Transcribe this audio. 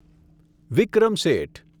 વિક્રમ શેઠ